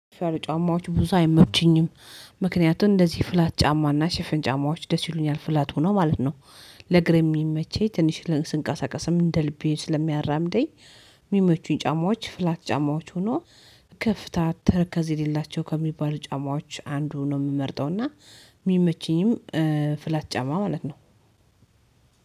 ፈር ጫማዎች ብዙ አይመቹኝም። ምክንያቱም እንደዚህ ፍላት ጫማና ሽፍን ጫማዎች ደስ ይሉኛል ፍላት ሆኖ ማለት ነው። ለእግር የሚመቸኝ ትንሽ ስንቀሳቀስም እንደ ልቤ ስለሚያራምደኝ። የሚመቹኝ ጫማዎች ፍላት ጫማዎች ሆኖ። ከፍታ ተረከዝ የሌላቸው ከሚባሉ ጫማዎች አንዱ ነው የምመርጠው እና የሚመቸኝም ፍላት ጫማ ማለት ነው።